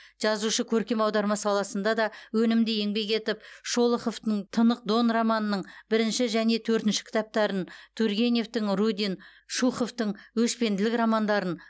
жазушы көркем аударма саласында да өнімді еңбек етіп м шолоховтың тынық дон романының бірінші және төртінші кітаптарын и тургеневтің рудин и шуховтың өшпенділік романдарын